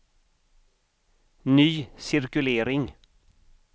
ny cirkulering